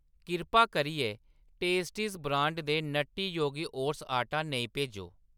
किरपा करियै Tasties brand दे नट्टी योगी ओट्स आटा नेईं भेजो।